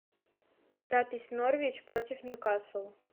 запись норвич против ньюкасла